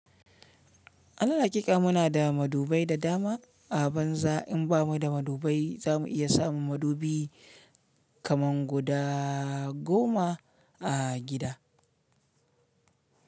Anal haƙika muna da madubai da dama a banza in bamu da madubai zamu iya samun madubi kaman guda goma a gida.